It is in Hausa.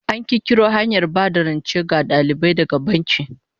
An kirkiro da hanyar ba da rance ga dalibai daga banki